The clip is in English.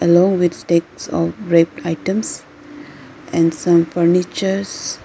along with stacks of red items and some furnitures --